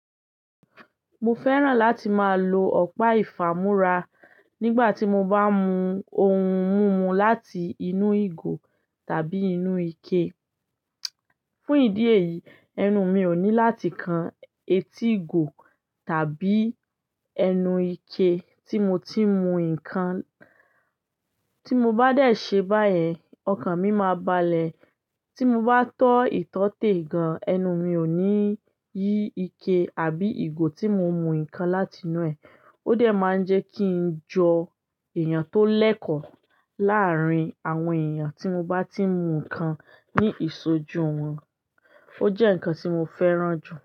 Mo fẹ́ràn láti máa lo ọ̀pá ìfàmúrá nígbà tí mo bá ń mu ohun mímu láti inú ìgò tàbí inú ike. Fún ìdí èyí, ẹnu mi ò ní láti kan etí ìgò tàbí ẹnu ike tí mo ti ń mu ǹkan. Tí mo bá dẹ̀ ṣe báyẹ̀, ọkàn mi máa balẹ̀. Tí mo bá tọ́ ìtọ́tè gan, ẹnu mi ò ní yí ike àbí ìgò tí mo ń mu ǹkan láti inú ẹ. Ó dẹ̀ máa ń jẹ kí n jọ èèyàn tó lẹ́kọ̀ọ́ láàárín àwọn èèyàn tí mo bá tí ń mu ǹkan ní ìṣojú wọn. Ó jẹ́ ǹkan tí mo fẹ́ràn jù.